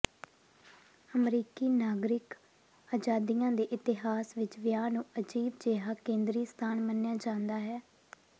ਅਮਰੀਕੀ ਨਾਗਰਿਕ ਆਜ਼ਾਦੀਆਂ ਦੇ ਇਤਿਹਾਸ ਵਿਚ ਵਿਆਹ ਨੂੰ ਅਜੀਬ ਜਿਹਾ ਕੇਂਦਰੀ ਸਥਾਨ ਮੰਨਿਆ ਜਾਂਦਾ ਹੈ